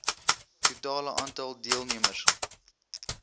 totale aantal deelnemers